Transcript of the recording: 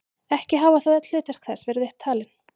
Ekki hafa þó öll hlutverk þess verið upp talin.